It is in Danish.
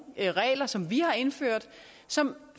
regler som vi har indført som